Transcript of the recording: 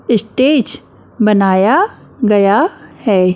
Stage बनाया गया है।